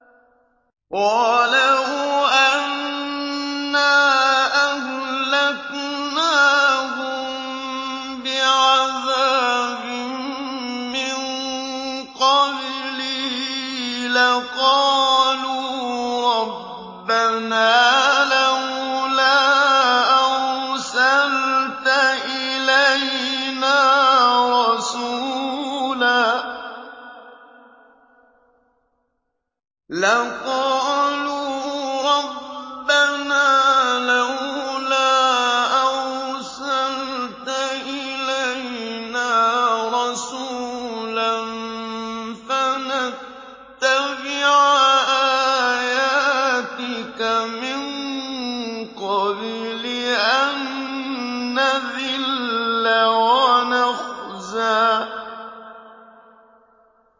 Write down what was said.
وَلَوْ أَنَّا أَهْلَكْنَاهُم بِعَذَابٍ مِّن قَبْلِهِ لَقَالُوا رَبَّنَا لَوْلَا أَرْسَلْتَ إِلَيْنَا رَسُولًا فَنَتَّبِعَ آيَاتِكَ مِن قَبْلِ أَن نَّذِلَّ وَنَخْزَىٰ